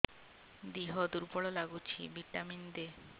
ଦିହ ଦୁର୍ବଳ ଲାଗୁଛି ଭିଟାମିନ ଦେ